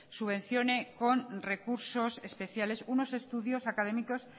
subvencione con recursos especiales unos estudios académicos